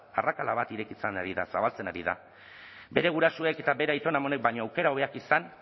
arrakala bat ireki zen zabaltzen ari da bere gurasoek eta bere aiton amonek baino aukera hobeak izan